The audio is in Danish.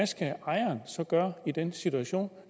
skal ejeren så gøre i den situation